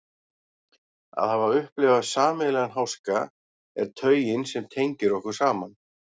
Að hafa upplifað sameiginlegan háska er taugin sem tengir okkur saman.